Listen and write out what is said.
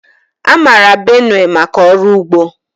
A mara Benue maka ọrụ ugbo.